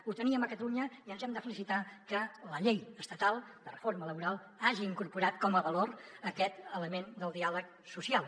ho teníem a catalunya i ens hem de felicitar que la llei estatal de reforma laboral hagi incorporat com a valor aquest element del diàleg social